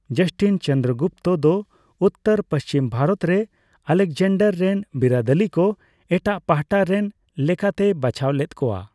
ᱡᱟᱥᱴᱤᱱ ᱪᱚᱱᱫᱨᱚᱜᱩᱯᱛᱚ ᱫᱚ ᱩᱛᱛᱚᱨᱼᱯᱚᱥᱪᱤᱢ ᱵᱷᱟᱨᱚᱛ ᱨᱮ ᱟᱞᱮᱠᱡᱟᱱᱰᱟᱨ ᱨᱮᱱ ᱵᱤᱨᱟᱹᱫᱟᱹᱞᱤ ᱠᱚ ᱮᱴᱟᱜ ᱯᱟᱦᱴᱟ ᱨᱮᱱ ᱞᱮᱠᱟᱛᱮᱭ ᱵᱟᱪᱷᱟᱣ ᱞᱮᱫ ᱠᱚᱣᱟ ᱾